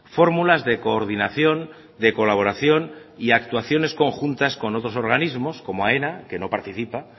fórmulas de coordinación de colaboración y actuaciones conjuntas con otros organismos como aena que no participa